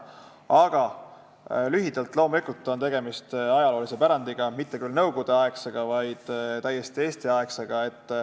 Aga lühidalt öeldes on loomulikult tegemist ajaloolise pärandiga, mitte küll nõukogudeaegsega, vaid täiesti Eesti-aegsega.